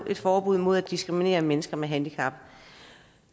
et forbud mod at diskriminere mennesker med handicap